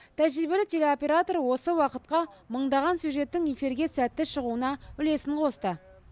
тәжірибелі телеоператор осы уақытқа мыңдаған сюжеттің эфирге сәтті шығуына үлесін қосты